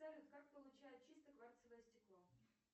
салют как получают чистое кварцевое стекло